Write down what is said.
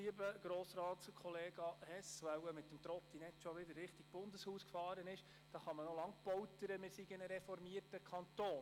Lieber Grossratskollega Hess – er ist mit dem Trottinett wohl bereits wieder in Richtung Bundeshaus gefahren –, man kann noch lange poltern, wir seien ein reformierter Kanton.